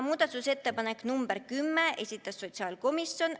Muudatusettepanek nr 10, esitas sotsiaalkomisjon.